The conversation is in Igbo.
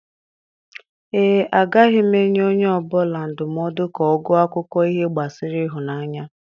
Ee, agaghị m enye onye ọ bụla ndụmọdụ ka ọ gụọ akụkọ ihe gbasara ịhụnanya.